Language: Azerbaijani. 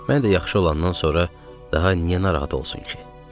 Mən də yaxşı olandan sonra daha niyə narahat olsun ki?